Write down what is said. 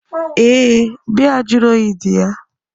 Ee, biya juru oyi dị ya.